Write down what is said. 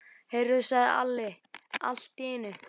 Heyrðu, sagði Alli allt í einu.